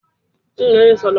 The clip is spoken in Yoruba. Bẹ́ẹ̀ni, mò ń òróró bọ̀.